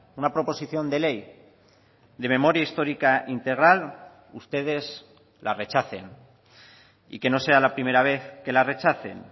una proposición de ley de memoria histórica integral ustedes la rechacen y que no sea la primera vez que la rechacen